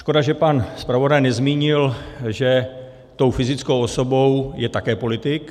Škoda, že pan zpravodaj nezmínil, že tou fyzickou osobou je také politik.